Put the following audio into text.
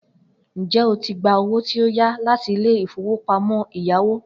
Njẹ o tí gbà owó tí o yá láti ilé ìfowópamọ́ ẹ̀yáwó